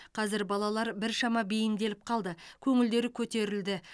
қазір балалар біршама бейімделіп қалды көңілдері көтерілді